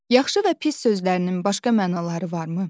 Yaxşı və pis sözlərinin başqa mənaları varmı?